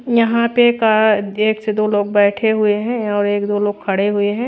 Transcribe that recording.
यहां पे का एक से दो लोग बैठे हुए हैं और एक दो लोग खड़े हुए हैं।